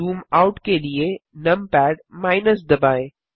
zoom out के लिए numpad - दबाएँ